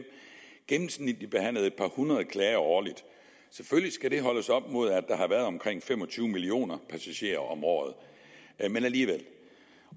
gennemsnitligt har behandlet et par hundrede klager årligt selvfølgelig skal det holdes op imod at der har været omkring fem og tyve millioner passagerer om året men alligevel